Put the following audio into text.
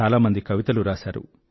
చాలా మంది కవితలు రాసారు